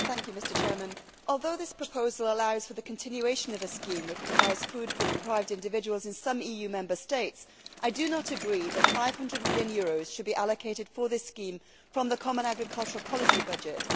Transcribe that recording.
Mr President, although this proposal allows for the continuation of a scheme which provides food for deprived individuals in some EU Member States, I do not agree that EUR 500 million should be allocated for this scheme from the Common Agricultural Policy budget.